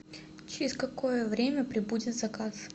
через какое время прибудет заказ